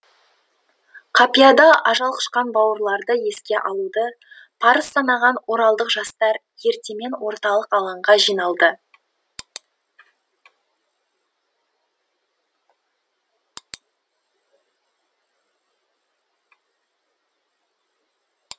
қапияда ажал құшқан бауырларды еске алуды парыз санаған оралдық жастар ертемен орталық алаңға жиналды